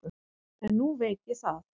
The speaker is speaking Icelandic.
En nú veit ég það.